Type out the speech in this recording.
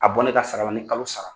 A bɔ ne ka sara la ni kalo sara.